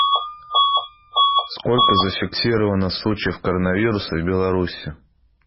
сколько зафиксировано случаев коронавируса в беларуси